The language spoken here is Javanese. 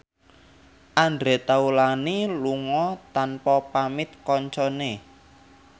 Andre Taulany lunga tanpa pamit kancane